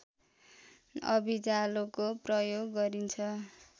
अभिजालोको प्रयोग गरिन्छ